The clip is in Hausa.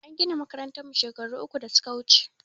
An gina makarantan mu shekaru uku da suka wuche